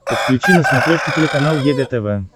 подключи на смотрешке телеканал егэ тв